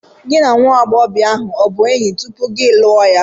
Gị na nwa agbọghọ ahụ ọ bụ enyi tupu ị lụọ ya?